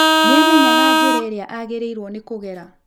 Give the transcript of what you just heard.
Nĩ aamenyaga njĩra ĩrĩa aagĩrĩirũo nĩ kũgera?